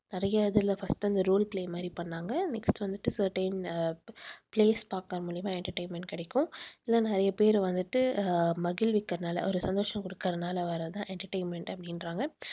நிறைய இதில first அந்த role play மாதிரி பண்ணாங்க next வந்துட்டு certain place பாக்கறது மூலியமா entertainment கிடைக்கும். இதில நிறைய பேர் வந்துட்டு அஹ் மகிழ்விக்கிறதுனால ஒரு சந்தோஷம் குடுக்கறதுனால வர்றதுதான் entertainment அப்படின்றாங்க